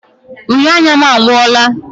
Uhie anya m agwụla.